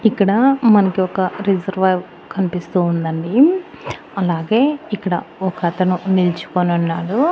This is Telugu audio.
ఇక్కడ మనకి ఒక రెజర్వో కనిపిస్తూ ఉందండి. అలాగే ఇక్కడ ఒకతను నిలుచుకొనున్నాడు .